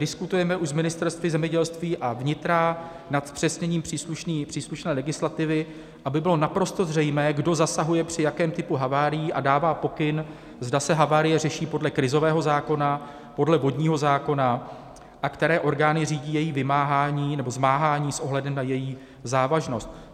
Diskutujeme už s ministerstvy zemědělství a vnitra nad zpřesněním příslušné legislativy, aby bylo naprosto zřejmé, kdo zasahuje při jakém typu havárií a dává pokyn, zda se havárie řeší podle krizového zákona, podle vodního zákona a které orgány řídí její vymáhání nebo zmáhání s ohledem na její závažnost.